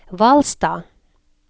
Hvalstad